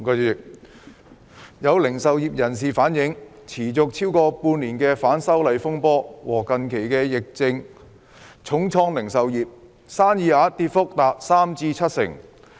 主席，有零售業人士反映，持續超過半年的反修例風波和近期的肺炎疫症重創零售業，生意額跌幅達三至七成。